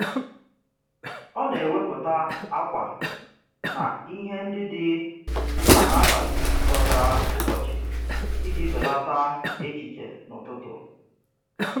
Ọ na-ewepụta ákwà na ihe ndị dị mkpa n'abalị bọtara ụbọchị iji belata echiche n'ụtụtụ.